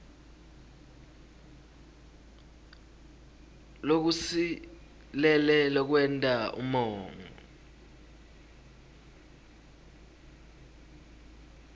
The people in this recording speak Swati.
lokusilele lokwenta umongo